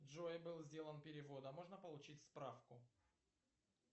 джой был сделан перевод а можно получить справку